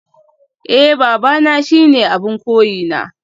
Eh babana shine abin koyina